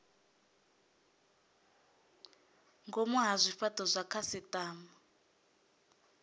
ngomu ha zwifhato zwa khasitama